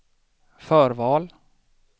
förval